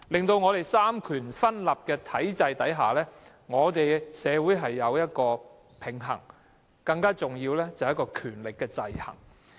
在三權分立的體制下，社會需要有一個平衡，更重要的是權力的制衡。